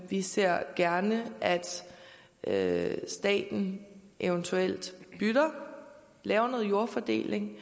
vi ser gerne at staten eventuelt lytter og laver noget jordfordeling